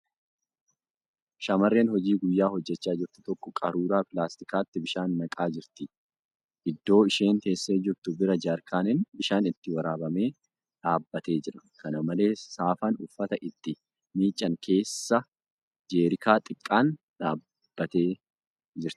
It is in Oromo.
Shamarreen hojii guyyaa hojjachaa jirtu tokko qaruuraa pilaastikaatti bishaan naqaa jirti. Iddoo isheen teessee jirtu bira jeerikaaniin bishaan itti waraabame dhadhaabbatee jira. Kana malees, saafaan uffata itti miiccan keessa jeerikaa xiqqaan dhaabbattee jirti.